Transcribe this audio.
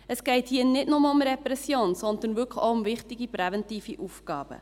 Es geht hier nicht nur um Repression, sondern wirklich auch um wichtige präventive Aufgaben.